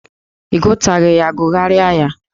Ị gụtaghị ya, gụgharịa ya!